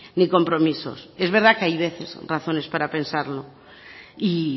ni compromisos es verdad que hay veces razones para pensarlo y